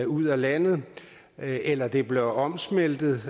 ud af landet eller det bliver omsmeltet